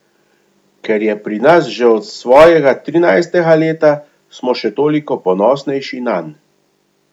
Ker je pri nas že od svojega trinajstega leta, smo še toliko ponosnejši nanj.